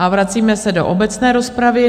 A vracíme se do obecné rozpravy.